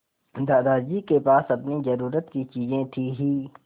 दादाजी के पास अपनी ज़रूरत की चीजें थी हीं